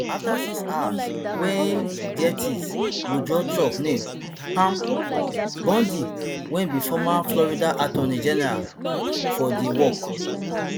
afta six hours wey gaetz withdraw trump name pam bondi wey be former florida attorney general for di work